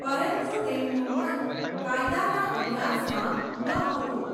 પરંતુ તેમનું મન કાયદાના અભ્યાસમાં નહોતું.